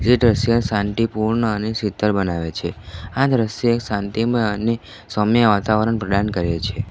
જે દ્રશ્ય શાંટિપૂર્ણ અને શીતળ બનાવે છે આ દ્રશ્ય એક શાંટિમય અને સૌમ્ય વાતાવરણ પ્રડાન કરે છે.